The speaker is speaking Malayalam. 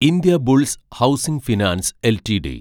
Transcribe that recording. Indiabulls housing finance LTD